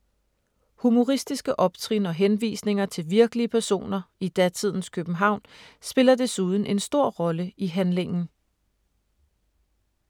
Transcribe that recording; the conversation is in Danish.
Humoristiske optrin og henvisninger til virkelige personer i datidens København spiller desuden en stor rolle i handlingen.